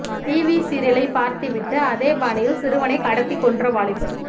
TV சீரியலை பார்த்துவிட்டு அதே பாணியில் சிறுவனை கடத்திக் கொன்ற வாலிபர்